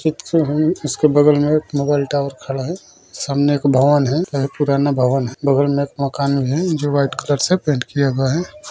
ठीक से है उसके बगल में एक मोबाइल टॉवर खड़ा है सामने एक भवन है यह पुराना भवन है बगल में एक मकान है जो व्हाइट कलर से पेंट किया हुआ है।